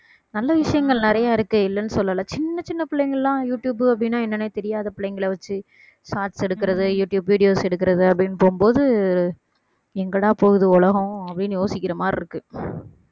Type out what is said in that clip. நல்ல விஷயங்கள் நிறைய இருக்கு இல்லைன்னு சொல்லல சின்ன சின்ன பிள்ளைங்க எல்லாம் யூடுயூப் அப்படின்னா என்னன்னே தெரியாத பிள்ளைங்களை வச்சு shots எடுக்கிறது யூடுயூப் videos எடுக்கிறது அப்படின்னு போகும்போது எங்கடா போகுது உலகம் அப்படின்னு யோசிக்கிற மாதிரி இருக்கு